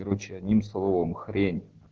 короче одним словом хрень